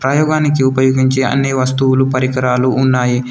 ప్రయోగానికి ఉపయోగించే అన్ని వస్తువులు పరికరాలు ఉన్నాయి.